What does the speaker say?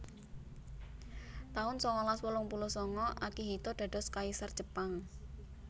taun sangalas wolung puluh sanga Akihito dados Kaisar Jepang